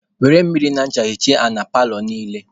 Were mmiri na ncha hichaa ala paalọ niile.